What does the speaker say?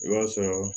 I b'a sɔrɔ